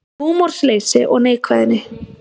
Húmorsleysi og neikvæðni